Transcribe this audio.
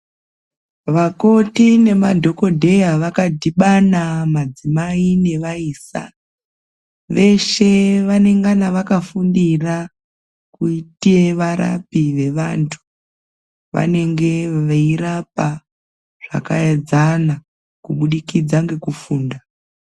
Vakoti nemadhokodheya vakadhibana madzimai nevaisa vese vanengana vakafundira kuita varipi vevantu vanenge veirapa zvajaedzana kubudikidza ngekufunda.